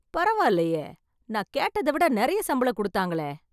பரவாலயே, நான் கேட்டதவிட நிறைய சம்பளம் குடுத்தாங்களே.